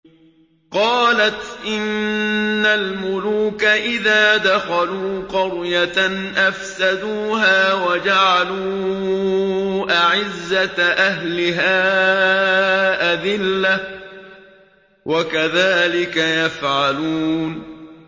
قَالَتْ إِنَّ الْمُلُوكَ إِذَا دَخَلُوا قَرْيَةً أَفْسَدُوهَا وَجَعَلُوا أَعِزَّةَ أَهْلِهَا أَذِلَّةً ۖ وَكَذَٰلِكَ يَفْعَلُونَ